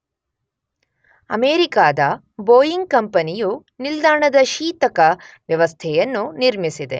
ಅಮೇರಿಕಾದ ಬೋಯಿಂಗ್ ಕಂಪನಿಯು ನಿಲ್ದಾಣದ ಶೀತಕ ವ್ಯವಸ್ಥೆಯನ್ನು ನಿರ್ಮಿಸಿದೆ.